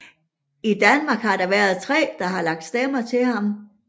I Danmark har der været tre der har lagt stemme til ham